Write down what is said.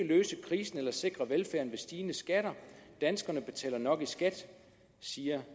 løse krisen eller sikre velfærden med stigende skatter danskerne betaler nok i skat siger